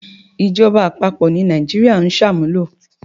Ìjọba àpapọ̀ ni Nàìjíríà ń sàmúlò.